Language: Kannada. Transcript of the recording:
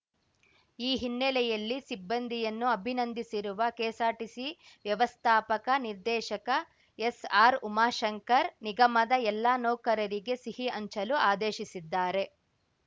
ಈ ಹಿನ್ನೆಲೆಯಲ್ಲಿ ಸಿಬ್ಬಂದಿಯನ್ನು ಅಭಿನಂದಿಸಿರುವ ಕೆಎಸ್‌ಆರ್‌ಟಿಸಿ ವ್ಯವಸ್ಥಾಪಕ ನಿರ್ದೇಶಕ ಎಸ್‌ಆರ್‌ಉಮಾಶಂಕರ್‌ ನಿಗಮದ ಎಲ್ಲ ನೌಕರರಿಗೆ ಸಿಹಿ ಹಂಚಲು ಆದೇಶಿಸಿದ್ದಾರೆ